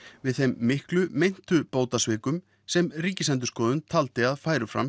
við þeim miklu meintu bótasvikum sem Ríkisendurskoðun taldi að færu fram